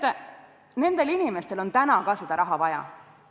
Teate, nendel inimestel on ka praegu seda raha vaja.